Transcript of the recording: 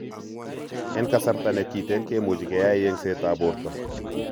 En kasarta ne kiten kimuche keyai yengsetap porto .